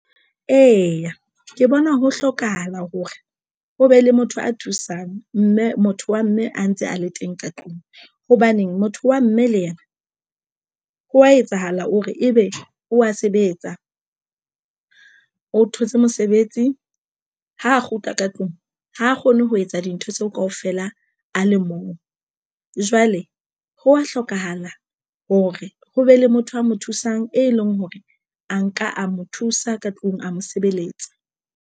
Eya, ke bona ho hlokahala hore o be le motho a thusang mme motho wa mme a ntse a le teng ka tlung hobane motho wa mme le yena ho wa etsahala hore ebe o ya sebetsa o thotse mosebetsi ha a kgutla ka tlung ha kgone ho etsa dintho tseo kaofela a le mong. Jwale ho ya hlokahala hore ho be le motho a mo thusang e leng hore a nka a mo thusa ka tlung a mo sebeletsa.